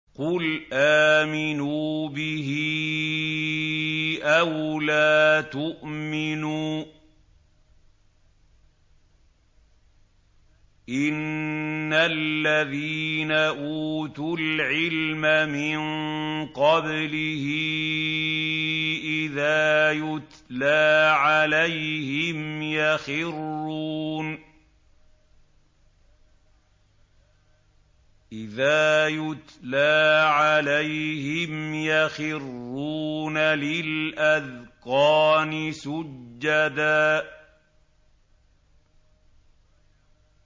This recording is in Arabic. قُلْ آمِنُوا بِهِ أَوْ لَا تُؤْمِنُوا ۚ إِنَّ الَّذِينَ أُوتُوا الْعِلْمَ مِن قَبْلِهِ إِذَا يُتْلَىٰ عَلَيْهِمْ يَخِرُّونَ لِلْأَذْقَانِ سُجَّدًا